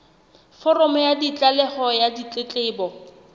foromo ya tlaleho ya ditletlebo